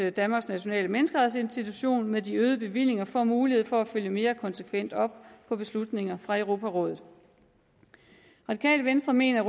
at danmarks nationale menneskerettighedsinstitution med de øgede bevillinger får mulighed for at følge mere konsekvent op på beslutninger fra europarådet radikale venstre mener